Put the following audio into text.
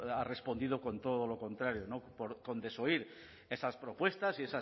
ha respondido con todo lo contrario con desoír esas propuestas y